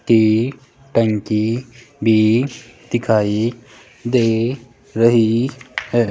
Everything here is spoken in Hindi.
तेल टंकी भी दिखाई दे रही है।